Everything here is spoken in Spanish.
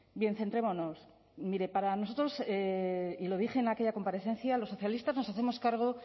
bien centrémonos mire para nosotros y lo dije en aquella comparecencia los socialistas nos hacemos cargo